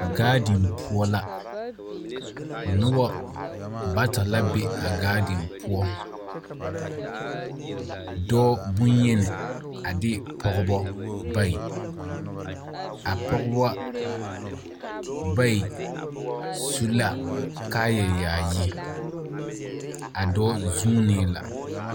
Gaadin poɔ la. Noba bata la be a gaadin poɔ. Dɔɔ bonyeni a de pɔgbɔ bayi. A pɔgbɔ bayi su la kaayɛyaayi. A dɔɔ zuunee la.